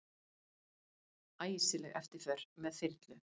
Æsileg eftirför með þyrlu